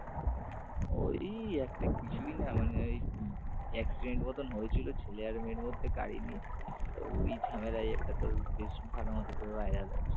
ওই একটা কিছুই না মানে ওই accident মত হয়েছিল ছেলে আর মেয়ের মধ্যে গাড়ি নিয়ে তো ওই ঝামেলায় একটা তোর বেশ ভালো মতন করে viral হয়েছে।